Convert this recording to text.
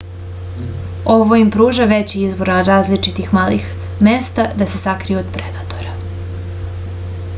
ovo im pruža veći izbor različitih malih mesta da se sakriju od predatora